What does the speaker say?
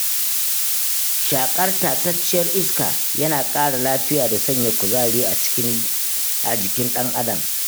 Shaƙar tatacciyar iska yana ƙara lafiya da sanya kuzari a jikin ɗan adam.